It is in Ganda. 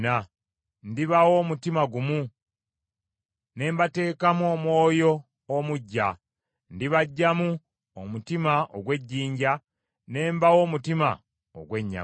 Ndibawa omutima gumu ne mbateekamu omwoyo omuggya; ndibaggyamu omutima ogw’ejjinja, ne mbawa omutima ogw’ennyama.